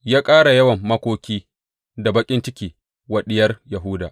Ya ƙara yawan makoki da baƙin ciki wa Diyar Yahuda.